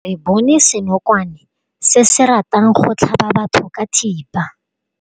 Re bone senokwane se se ratang go tlhaba batho ka thipa.